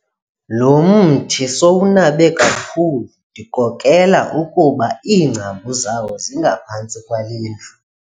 Lo mthi sowunabe kakhulu ndikrokrela ukuba iingcambu zawo zingaphantsi kwale ndlu.